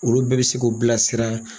Olu bɛɛ be se k'o bila sira